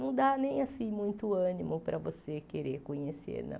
Não dá nem assim muito ânimo para você querer conhecer, não.